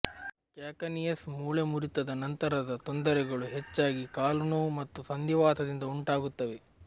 ಕ್ಯಾಕನಿಯಸ್ ಮೂಳೆ ಮುರಿತದ ನಂತರದ ತೊಂದರೆಗಳು ಹೆಚ್ಚಾಗಿ ಕಾಲು ನೋವು ಮತ್ತು ಸಂಧಿವಾತದಿಂದ ಉಂಟಾಗುತ್ತವೆ